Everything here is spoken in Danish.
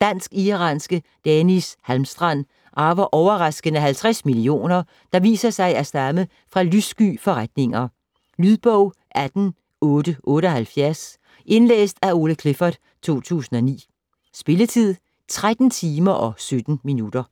Dansk-iranske Deniz Halmstrand arver overraskende 50 millioner, der viser sig at stamme fra lyssky forretninger. Lydbog 18878 Indlæst af Ole Clifford, 2009. Spilletid: 13 timer, 17 minutter.